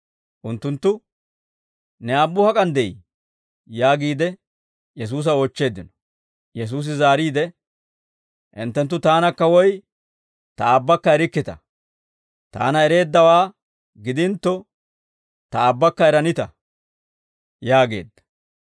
Unttunttu, «Ne aabbu hak'an de'ii?» yaagiide Yesuusa oochcheeddino. Yesuusi zaariide, «Hinttenttu Taanakka woy Ta Aabbakka erikkita; Taana ereeddawaa gidintto, Ta Aabbakka eranita» yaageedda.